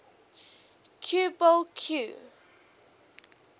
cue ball cue